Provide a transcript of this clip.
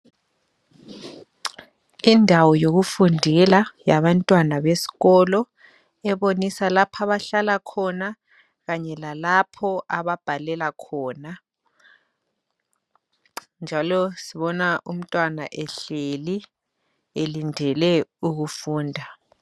Indawo yokufundela yabantwana besikolo ebonisa lapha abahlala khona kanye lalapho ababhalela khona njalo sibona umntwana ehleli elindele ukufunda.